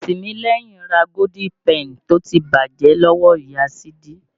Tìmílẹ́yìn ra Golden penny tó ti bàjẹ́ lọ́wọ́ Ìya Sídí.